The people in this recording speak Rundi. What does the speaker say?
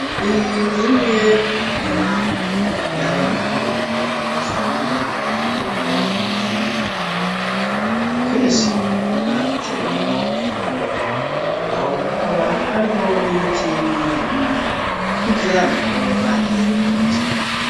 Iyi ni imwe mu mirima, y'abenegihugu usanga mu bihugu, bimwe bimwe; ukaba akenshi, iba itewemwo ibigori; naho hakaba, hariho n'ibiti bimwe bimwe, nk'ivyamwa, baba barirengagije.